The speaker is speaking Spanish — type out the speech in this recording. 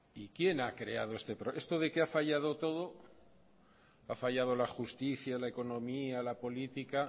esto de que haya fallado todo ha fallado la justicia la economía la política